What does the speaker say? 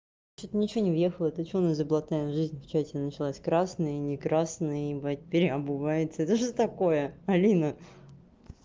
что-то ничего не въехала это что у нас за блатная жизнь в чате началась красные не красные ебать переобувается это что такое алина